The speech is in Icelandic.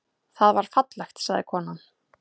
Það var fallegt, sagði konan.